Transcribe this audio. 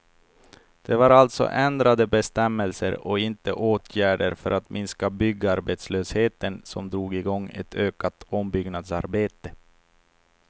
Det var alltså ändrade bestämmelser och inte åtgärder för att minska byggarbetslösheten som drog igång ett ökat ombyggnadsarbete.